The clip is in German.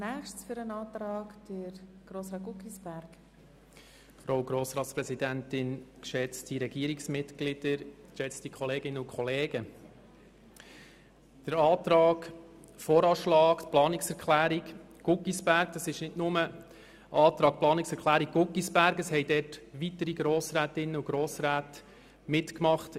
Beim Antrag 2 Guggisberg handelt es sich nicht nur um einen Antrag von Grossrat Guggisberg, vielmehr haben noch weitere Grossrätinnen und Grossräte mitgemacht.